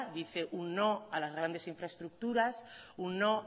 dice un no a las grandes infraestructuras un no